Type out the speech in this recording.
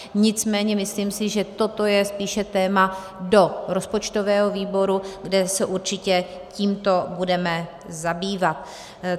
Nicméně si myslím, že toto je spíše téma do rozpočtového výboru, kde se určitě tímto budeme zabývat.